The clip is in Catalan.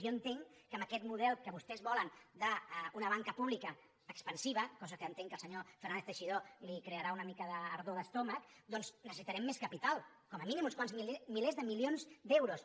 jo entenc que amb aquest model que vostès volen d’una banca pública expansiva cosa que entenc que al senyor fernández teixidó li crearà una mica d’ardor d’estómac doncs necessitarem més capital com a mínim uns quants milers de milions d’euros